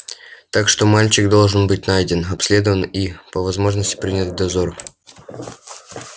так что мальчик должен быть найден обследован и по возможности принят в дозор